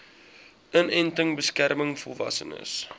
inenting beskerm volwassenes